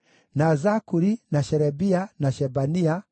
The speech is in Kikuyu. na Zakuri, na Sherebia, na Shebania,